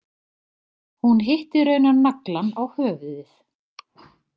Hún hitti raunar naglann á höfuðið.